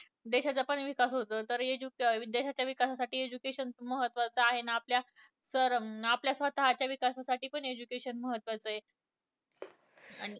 देशाचा पण विकास होतो. तर देशाच्या विकासासाठी education महत्वाचं आहे ना आपल्या तर स्वतःच्या विकासासाठी पण education महत्वाचं आहे. आणि